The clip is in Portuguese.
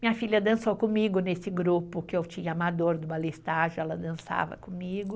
Minha filha dançou comigo nesse grupo que eu tinha amador do balé estágio, ela dançava comigo.